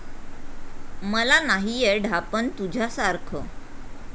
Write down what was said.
मला नाहीये ढापण तुझ्यासारखं.